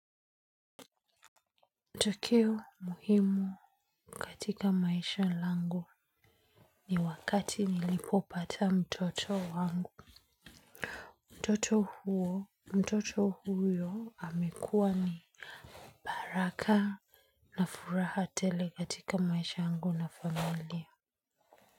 Tukio muhimu katika maisha langu ni wakati nilipopata mtoto wangu. Mtoto huo, mtoto huyo amekua ni baraka na furaha tele katika maisha yangu na familia.